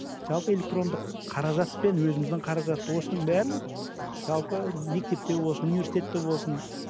жалпы электрондық қаражатпен өзіміздің қаражат осының бәрін жалпы мектепте болсын университетте болсын